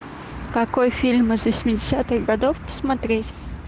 какой фильм из восьмидесятых годов посмотреть